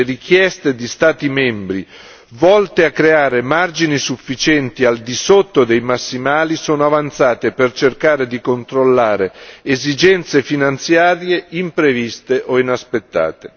Le richieste di Stati membri volte a creare margini sufficienti al di sotto dei massimali sono avanzate per cercare di controllare esigenze finanziarie impreviste o inaspettate.